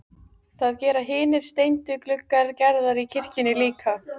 Það gera hinir steindu gluggar Gerðar í kirkjunni líka.